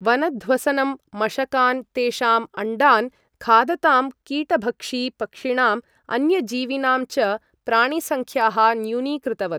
वनध्वसनं मशकान् तेषाम् अण्डान् खादतां कीटभक्षि पक्षिणाम् अन्यजीविनां च प्राणिसङ्ख्याः न्यूनीकृतवत्।